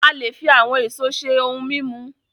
A le fi àwọn èso ṣe ohun mímu